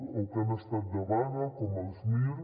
o que han estat de vaga com els mir